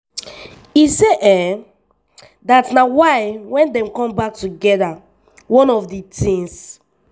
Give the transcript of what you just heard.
e say dat na why wen dem come back togeda one of di tins